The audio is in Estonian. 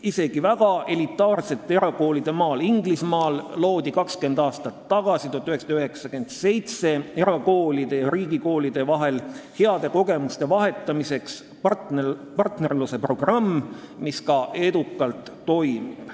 Isegi väga elitaarsete erakoolide maal Inglismaal loodi 20 aastat tagasi, 1997 erakoolide ja riigikoolide vahel heade kogemuste vahetamiseks partnerlusprogramm, mis edukalt toimib.